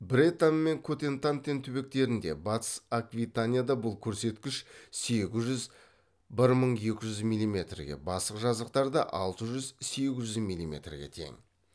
бретань мен котентантен түбектерінде батыс аквитанияда бұл көрсеткіш сегіз жүз бір мың екі жүз миллиметрге басқа жазықтарда алты жүз сегіз жүз миллиметрге тең